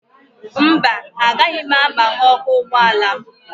Mba, agaghị m agbaghe ọkụ ụgbọala m